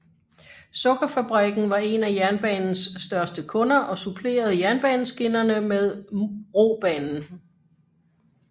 Sukkerfabrikken var en af jernbanens største kunder og supplerede jernbaneskinnerne med robanen